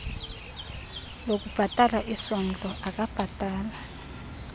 lokubhatala isondlo akabhatali